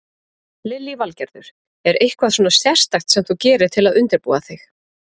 Lillý Valgerður: Er eitthvað svona sérstakt sem þú gerir til að undirbúa þig?